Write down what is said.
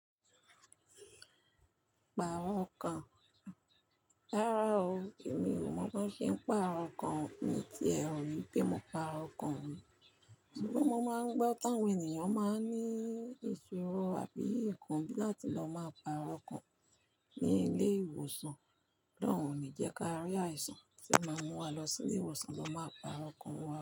Pààrọ̀ okán? Rárá o, èmi ò mọ̀ bó ṣe ń pààrọ̀ okán mi tí ẹ rò pé mo pààrọ̀ okán ri. Sùgbọ́n mo máà ń gbọ́ táwọn ènìyàn máa ń ní ìṣòro àbí ìkàn bí làti lọ máa pààrọ̀ okán ní ilé ìwòsàn, olohun òní jẹ́ kí a rí àìsàn to máa mú wa lọ sí ilé ìwòsàn lọ máa pààrọ̀ okán wa.